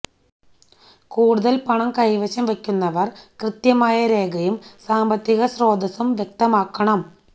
കൂടുതല് പണം കൈവശം വെക്കുന്നവര് കൃത്യമായ രേഖയും സാമ്പത്തിക സ്രോതസ്സും വ്യക്തമാക്കണം